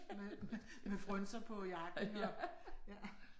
Med med med frynser på jakken og ja